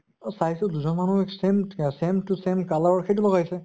চাইছো দুজন মানুহ same same to same color ৰ সেইটো লগাইছে।